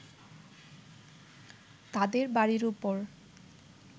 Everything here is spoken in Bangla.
তাদের বাড়ির উপর